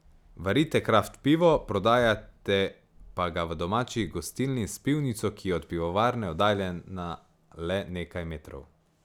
Varite kraft pivo, prodajate pa ga v domači gostilni s pivnico, ki je od pivovarne oddaljena le nekaj metrov.